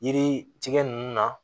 Yiri tigɛ nunnu na